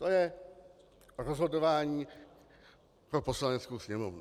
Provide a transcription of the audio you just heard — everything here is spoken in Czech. To je rozhodování pro Poslaneckou sněmovnu.